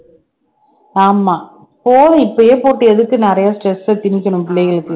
ஆமா போதும் இப்பையே போட்டு எதுக்கு நிறைய stress அ திணிக்கணும் பிள்ளைகளுக்கு